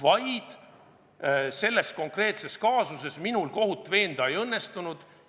Lihtsalt selles konkreetses kaasuses minul kohut veenda ei õnnestunud.